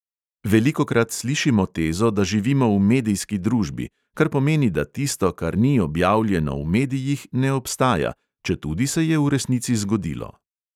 Velikokrat slišimo tezo, da živimo v medijski družbi, kar pomeni, da tisto, kar ni objavljeno v medijih, ne obstaja, četudi se je v resnici zgodilo.